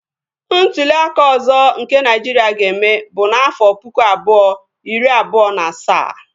Ntụli aka ọzọ nke Naịjiria ga-eme bụ n'afọ pụkụ abụọ iri abụọ na asaa